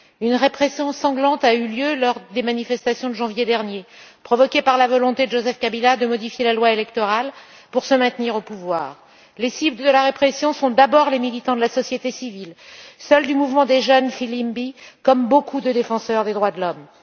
Une répression sanglante a eu lieu lors des manifestations de janvier dernier, provoquée par la volonté de Joseph Kabila de modifier la loi électorale pour se maintenir au pouvoir. Les cibles de la répression sont d'abord les militants de la société civile, du mouvement des jeunes, Filimbi, comme beaucoup de défenseurs des droits de l'homme.